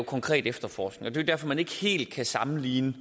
konkret efterforskning og det er jo derfor man ikke helt kan sammenligne